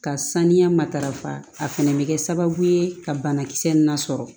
Ka saniya matarafa a fɛnɛ bɛ kɛ sababu ye ka banakisɛ in lasɔrɔ